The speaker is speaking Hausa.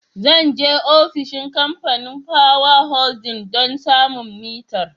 Zan je ofishin Kamfanin Power Holding don samun mitar.